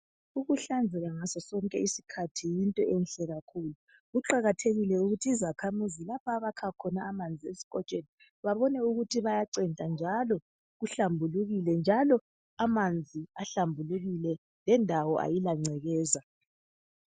Ukuhlanzeka ngaso sonke isikhathi yinto enhle kakhulu. Kuqakathekile ukuthi izakhamizi, lapha abakha khona amanzi esikotshweni bayacenta, njalo babone babone ukuthi bayacenta, njalo amanzi ahlambulukile. Njalo kendawo, kayilangcekeza.